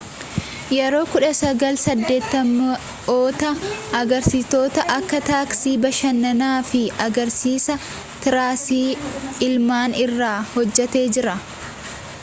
yeroo 1980’ootaa agarsiisota akka taaksii bashannan fi agarsiisa tiraasii almaan irra hojjatee jira